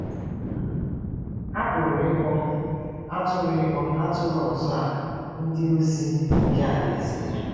A pụrụ ịkpọ “atụrụ ịkpọ “atụrụ ọzọ” a “ndị ozi” nke Alaeze ya.